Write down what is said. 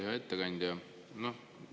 Hea ettekandja!